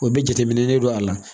O bɛ jateminɛ de don a la